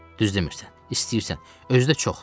Düz demirsən, istəyirsən, özü də çox.